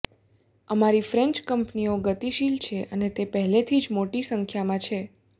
અમારી ફ્રેન્ચ કંપનીઓ ગતિશીલ છે અને તે પહેલેથી જ મોટી સંખ્યામાં છે